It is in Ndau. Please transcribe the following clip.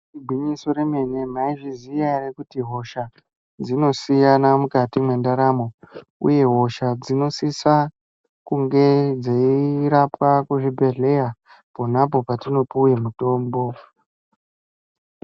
Igwinyiso remene , maizviziya ere kuti hosha dzinosiyana mwukati mwendaramo uye hosha dzinotsitsa kunge dzeirapwa kuzvibhedhleya ponapo patinopuwe mutombo.